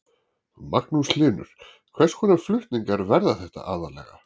Magnús Hlynur: Hvers konar flutningar verða þetta aðallega?